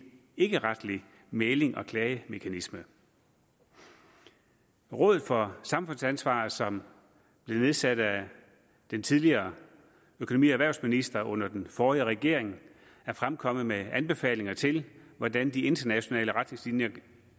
ikkeretlig mæglings og klagemekanisme rådet for samfundsansvar som blev nedsat af den tidligere økonomi og erhvervsminister under den forrige regering er fremkommet med anbefalinger til hvordan de internationale retningslinjer